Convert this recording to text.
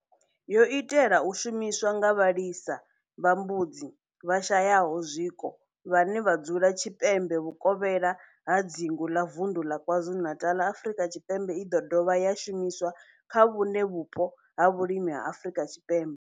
yo itelwa u shumiswa nga vhalisa vha mbudzi vhashayaho zwiko vhane vha dzula tshipembe vhukovhela ha dzingu la Vundu la KwaZulu-Natal, Afrika Tshipembe i do dovha ya shumiswa kha vhuṋe vhupo ha vhulimi ha Afrika Tshipembe.